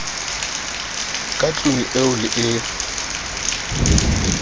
ka tlung eo le e